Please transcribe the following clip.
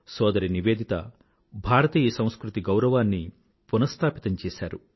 సోదరి నివేదిత భారతీయ సంస్కృతి గౌరవాన్ని పునస్థాపితం చేసారు